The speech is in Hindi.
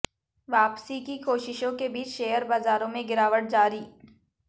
वापसी की कोशिशों के बीच शेयर बाजारों में गिरावट जारी